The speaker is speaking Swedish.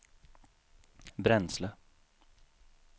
bränsle